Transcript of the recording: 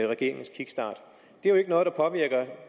regeringens kickstart